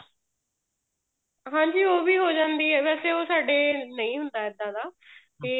ਹਾਂਜੀ ਉਹ ਵੀ ਹੋ ਜਾਂਦੀ ਹੈ ਵੈਸੇ ਉਹ ਸਾਡੇ ਨਹੀਂ ਹੁੰਦਾ ਇੱਦਾਂ ਦਾ ਤੇ